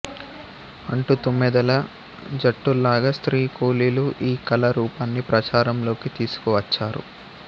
అంటూ తుమ్మెదల జట్టుల్లాగా స్త్రీ కూలీలు ఈ కళా రూపాన్ని ప్రచారం లోకి తీసుకు వచ్చారు